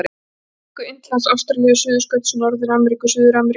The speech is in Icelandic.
Afríku-, Indlands-Ástralíu-, Suðurskauts-, Norður-Ameríku-, Suður-Ameríku-